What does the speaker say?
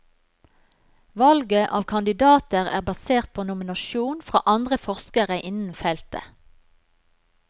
Valget av kandidater er basert på nominasjon fra andre forskere innen feltet.